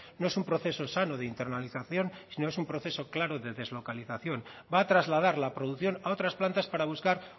no es un proceso sano de internalización sino es un proceso claro de deslocalización va a trasladar la producción a otras plantas para buscar